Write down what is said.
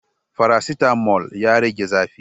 Faracetamol ya rage zafi